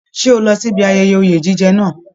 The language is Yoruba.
Ṣe o lọ síbi ayẹyẹ oye jíjẹ náà?